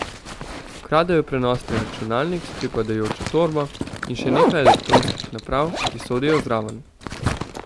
Ukradel je prenosni računalnik s pripadajočo torbo in še nekaj elektronskih naprav, ki sodijo zraven.